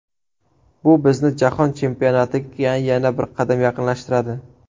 Bu bizni jahon chempionatiga yana bir qadam yaqinlashtiradi.